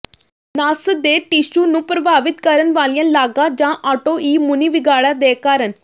ਨਸ ਦੇ ਟਿਸ਼ੂ ਨੂੰ ਪ੍ਰਭਾਵਿਤ ਕਰਨ ਵਾਲੀਆਂ ਲਾਗਾਂ ਜਾਂ ਆਟੋਇਮੂਨੀ ਵਿਗਾੜਾਂ ਦੇ ਕਾਰਨ